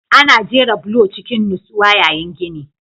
Ana jera bulo cikin nutsuwa yayin gini